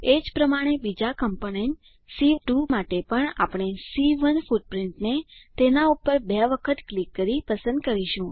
એજ પ્રમાણે બીજા કમ્પોનન્ટ સી2 માટે પણ આપણે સી1 ફૂટપ્રીંટને તેના પર બે વાર ક્લિક કરીને પસંદ કરીશું